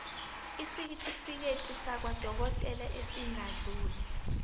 isitifiketi sakwadokodela esingadluli